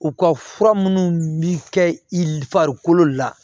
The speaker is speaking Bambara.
U ka fura minnu bɛ kɛ i l farikolo la